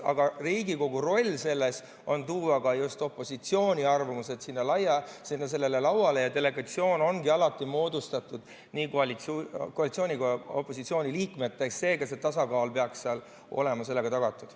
Aga Riigikogu roll selles on tuua just opositsiooni arvamus lauale ja delegatsioon ongi alati moodustatud nii koalitsiooni kui ka opositsiooni liikmetest, seega see tasakaal peaks seal olema tagatud.